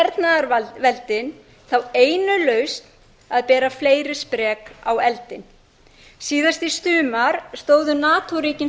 okkur eiga hernaðarveldin þá einu lausn að bera fleiri sprek á eldinn síðast í sumar stóðu nato ríkin